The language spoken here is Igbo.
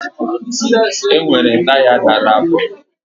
Enwere taya dara afọ